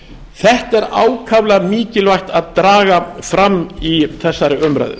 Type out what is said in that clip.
þetta er ákaflega mikilvægt að draga fram í þessari umræðu